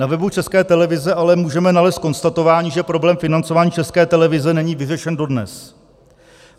Na webu České televize ale můžeme nalézt konstatování, že problém financování České televize není vyřešen dodnes.